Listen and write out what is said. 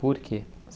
Por quê?